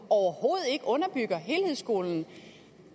overhovedet ikke underbygger helhedsskolen